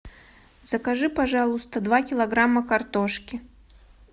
закажи пожалуйста два килограмма картошки